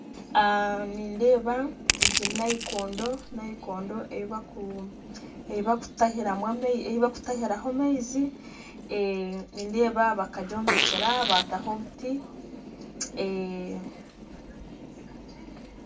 Nindeeba nayikondo eyibarikutahiraho amaizi bakagyombekyera bataho obuti